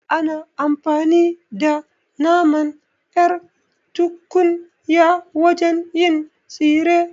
Ana amfani da naman ƴar tunkiya wajen yin tsire